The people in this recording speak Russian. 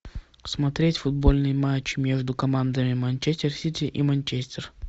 смотреть футбольный матч между командами манчестер сити и манчестер